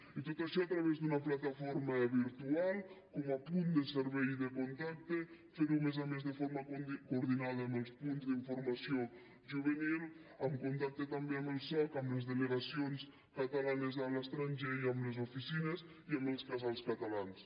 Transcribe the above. i tot això a través d’una plataforma virtual com a punt de servei i de contacte fer ho a més a més de forma coordinada amb els punts d’informació juvenil en contacte també amb el soc amb les delegacions catalanes a l’estranger i amb les oficines i amb els casals catalans